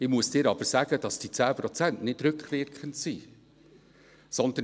Ich muss dir aber sagen, dass diese 10 Prozent nicht rückwirkend sind, sondern: